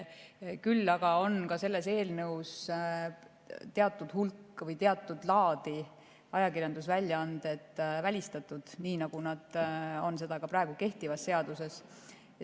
Küll aga on selle eelnõuga välistatud teatud laadi ajakirjandusväljaanded, nii nagu on praegu kehtivas seaduses.